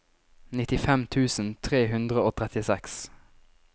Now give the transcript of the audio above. nittifem tusen tre hundre og trettiseks